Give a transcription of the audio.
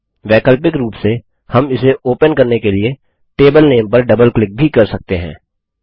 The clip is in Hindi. वैकल्पिक रूप से हम इसे ओपन करने के लिए टेबल नामे पर डबल क्लिक भी कर सकते हैं